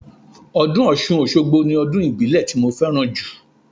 Ọdún Ọ̀ṣun Òṣogbo ni ọdún ìbílẹ̀ ti mo fẹ́ràn jù